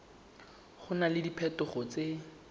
go na le diphetogo tse